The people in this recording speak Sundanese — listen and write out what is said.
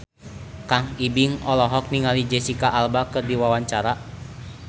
Kang Ibing olohok ningali Jesicca Alba keur diwawancara